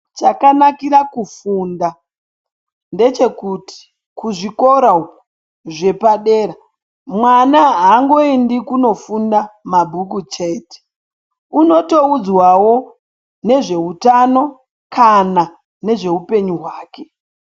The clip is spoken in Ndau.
Chakanakira kufunda ndechekuti kuti zvikora zvapadera mwana ayendi kuno funda mabhuku chete unotoudzwawo ne zveutano kana nezve upenyu hwake.